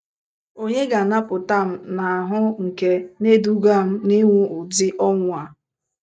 Ònye ga - anapụta m n’ahụ́ nke na - eduga m n’ịnwụ ụdị ọnwụ a? ”